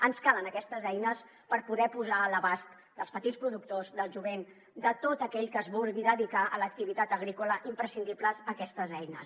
ens calen aquestes eines per poder posar a l’abast dels petits productors del jovent de tot aquell que es vulgui dedicar a l’activitat agrícola imprescindibles aquestes eines